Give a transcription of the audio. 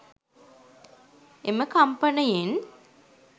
එම කම්පනයෙන්